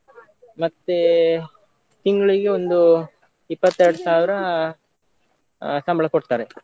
ಮತ್ತೇ ತಿಂಗ್ಳಿಗೆ ಒಂದು ಇಪ್ಪತ್ತೆರಡ್ ಸಾವಿರ ಆ ಸಂಬಳ ಕೊಡ್ತಾರೆ.